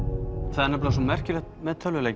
það er svo merkilegt við tölvuleiki